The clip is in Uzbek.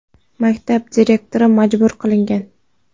Maktab direktori majbur qilgan.